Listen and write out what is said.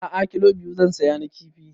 A'a kilo biyu zan saya na kifi